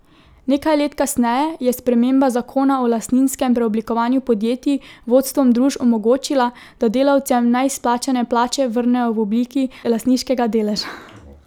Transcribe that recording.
Nekaj let kasneje je sprememba zakona o lastninskem preoblikovanju podjetij vodstvom družb omogočila, da delavcem neizplačane plače vrnejo v obliki lastniškega deleža.